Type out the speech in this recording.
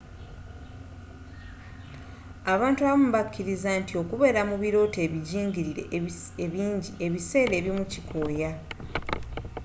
abantu abamu bakkiriza nti okubeera mu birooto ebijingirire ebinji ebiseera ebimu kikooya